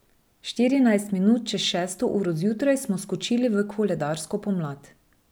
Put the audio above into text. Štirinajst minut čez šesto uro zjutraj smo skočili v koledarsko pomlad.